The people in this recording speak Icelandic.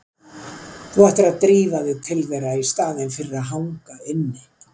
Þú ættir að drífa þig til þeirra í staðinn fyrir að hanga inni.